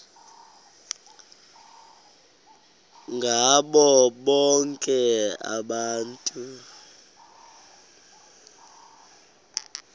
ngabo bonke abantu